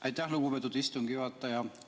Aitäh, lugupeetud istungi juhataja!